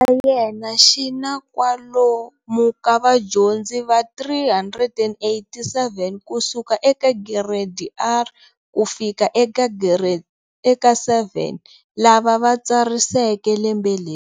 Xa yena xi na kwalo mu ka vadyondzi va 387 kusuka eka Gireyidi R ku fika eka 7 lava va tsariseke lembe leri.